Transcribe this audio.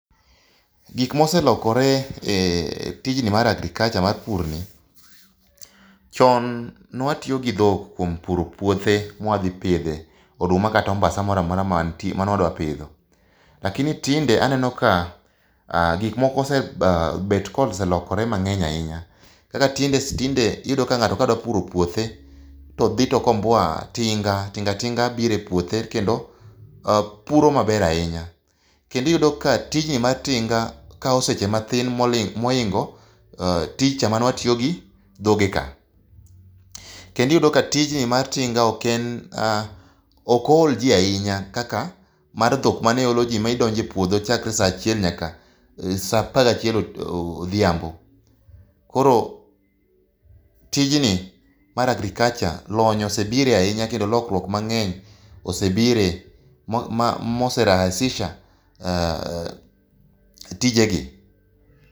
Gik moselokore e tijni mar agriculture mar purni, chon ne watiyo gi dhok e puro puothe ma wadhi pidhe oduma kata ombasa moro amora mantie mane wadwa pidho, lakini tinde aneno ka gik moko osebet kolokore mang'eny ahinya. Kaka tinde iyudo ka ng'ato dwa puro puothe, to dhi to komboa tinga, tinga tinga biro epuothe kendo puro maber ahinya. Kendo iyudo ka tijni mar tinga kawo seche matin ahinya moingo tijcha mane watiyo gi dhogeka. Kendo iyudo ka tijni mar tinga ok oolji ahinya kaka mar dhok mane oloji ma idonjo e puodho chakre saa achiel nyaka saa apar gachiel odhiambo. Koro tijni mar agriculture lony osebire ahinya kendo lokruok mang'eny osebire ma ose rahihisha tijegi.